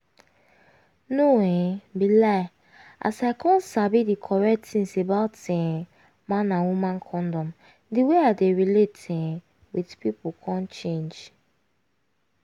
no um be lie as i come sabi di correct tins about um man and woman condom di way i dey relate um with pipu come change